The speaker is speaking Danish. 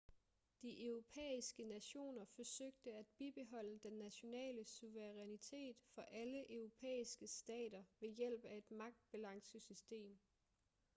de europæiske nationer forsøgte at bibeholde den nationale suverænitet for alle europæiske stater ved hjælp af et magtbalancesystem